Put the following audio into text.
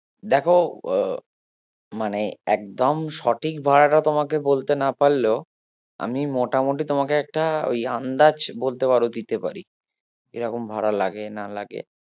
দেখো মানে একদম সঠিক ভাড়াটা তোমাকে বলতে না পারলেও আমি মোটামুটি তোমাকে একটা ওই আন্দাজ বলতে পারো দিতে পারি এরকম ভাড়া লাগে না লাগে